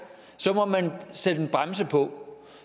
så må man sætte en bremse på